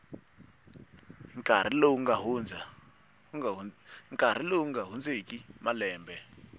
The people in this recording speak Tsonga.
nkarhi lowu nga hundzeki malembe